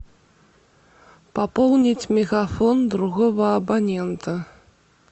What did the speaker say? пополнить мегафон другого абонента